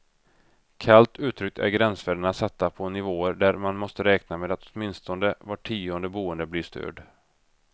Kallt uttryckt är gränsvärdena satta på nivåer där man måste räkna med att åtminstone var tionde boende blir störd.